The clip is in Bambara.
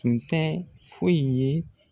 Tun tɛ foyi ye